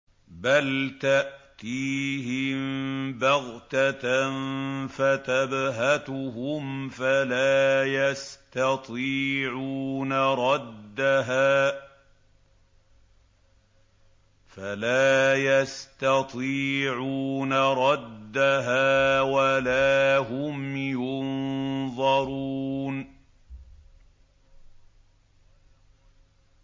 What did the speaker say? بَلْ تَأْتِيهِم بَغْتَةً فَتَبْهَتُهُمْ فَلَا يَسْتَطِيعُونَ رَدَّهَا وَلَا هُمْ يُنظَرُونَ